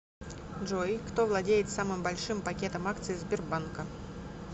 джой кто владеет самым большим пакетом акций сбербанка